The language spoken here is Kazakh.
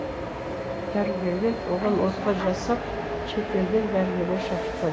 дәрігерлер оған ота жасап шетелден дәрігерлер шақыртқан